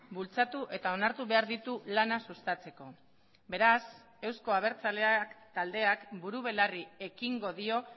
bultzatu eta onartu behar ditu lana sustatzeko beraz euzko abertzaleak taldeak buru belarri ekingo dio